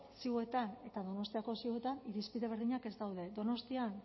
ziuetan eta donostiako ziuetan irizpide berdinak ez daude donostian